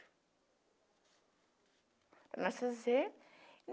Para nós fazer.